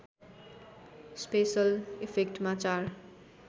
special इफेक्टमा चार